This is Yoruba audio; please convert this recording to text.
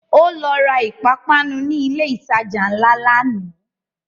Ó lọ ra ìpápánu ni ilẹ̀ ìtajà ńlá lánàá